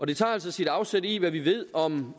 det tager altså sit afsæt i hvad vi ved om